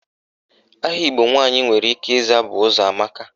Aha Igbo nwaanyị nwere ike ịza bụ Ụzọamaka.